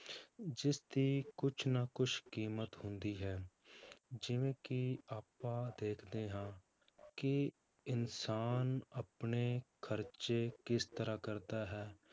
ਜਿਸਦੀ ਕੁਛ ਨਾ ਕੁਛ ਕੀਮਤ ਹੁੰਦੀ ਹੈ ਜਿਵੇਂ ਕਿ ਆਪਾਂ ਦੇਖਦੇ ਹਾਂ ਕਿ ਇਨਸਾਨ ਆਪਣੇ ਖ਼ਰਚੇ ਕਿਸ ਤਰ੍ਹਾਂ ਕਰਦਾ ਹੈ,